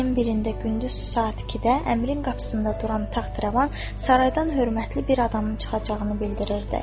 Ayın 1-də gündüz saat 2-də əmrin qapısında duran taxt-rəvan saraydan hörmətli bir adamın çıxacağını bildirirdi.